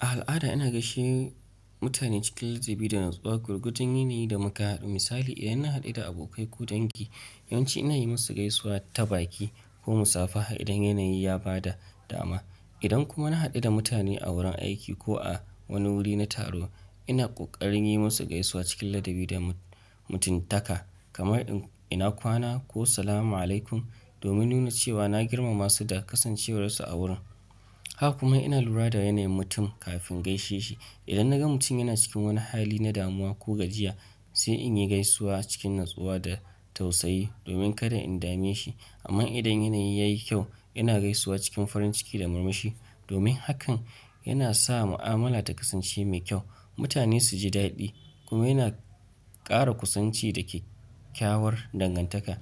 A al'ada ina gaishe mutane cikin ladabi da natsuwa, gwargwajin yanayi da mu ka haɗu. Misali idan na haɗu da abokai ko dangi, yawanci ina yi musu gaisuwa ta baki ko musafaha idan yanayi ya ba da dama. Idan kuma na hadu da mutane a wurin aiki ko a wani wuri na taro ina kokarin yi musu gaisuwa cikin ladabi da mutuntaka, kamar 'ina kwana' ko 'salama alaikum' domin nuna cewa na girmamasu da kasancewar su a wurin. Haka kuma ina lura da yanayin mutum kafin gaishe shi. Idan na ga mutum yana cikin wani hali na damuwa ko gajiya, sai in yi gaisuwa cikin natsuwa da tausayi domin kada in dame shi. Amma idan yanayi ya yi kyau, ina gaisuwa cikin farin ciki da murmushi domin hakan yana sa mu'amala ta kasance mai kyau, mutane su ji daɗi kuma yana ƙara kusanci da kyakkyawar dangantaka.